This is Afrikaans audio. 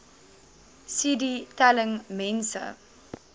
cd telling mense